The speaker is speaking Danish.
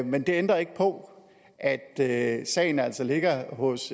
men det ændrer ikke på at at sagen altså ligger hos